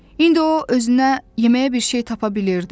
İndi o özünə yeməyə bir şey tapa bilirdi.